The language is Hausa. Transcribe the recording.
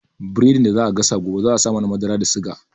Biredin da za a gasa gobe za a sa nama, madara da suga